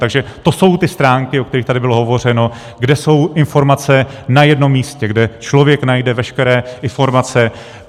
Takže to jsou ty stránky, o kterých tady bylo hovořeno, kde jsou informace na jednom místě, kde člověk najde veškeré informace.